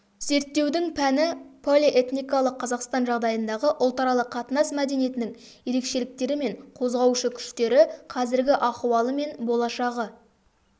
зерттеудің пәні полиэтникалық қазақстан жағдайындағы ұлтаралық қатынас мәдениетінің ерекшеліктері мен қозғаушы күштері қазіргі ахуалы мен болашағы